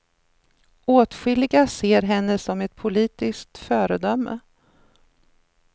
Åtskilliga ser henne som ett politiskt föredöme.